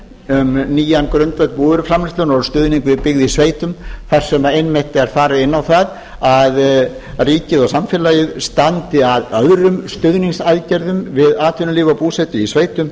um nýjan grundvöll búvöruframleiðslunnar og stuðning við byggð í sveitum þar sem einmitt er farið inn á það að ríkið og samfélagið standi að öðrum stuðningsaðgerðum við atvinnulíf og búsetu í sveitum